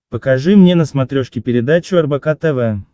покажи мне на смотрешке передачу рбк тв